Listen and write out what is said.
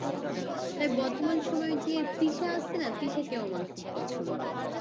হ্যাঁ তা বর্তমান সময়ে যে তৃষা আসছে না তৃষা কেও আমার খুব পছন্দ